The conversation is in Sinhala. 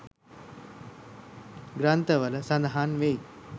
ග්‍රන්ථ වල සඳහන් වෙයි.